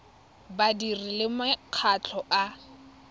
ya badiri le makgotla a